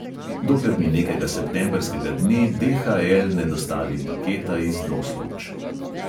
Dokler mi nekega septembrskega dne DHL ne dostavi paketa iz doslovč.